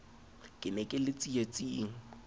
ke ne ke le tsietsing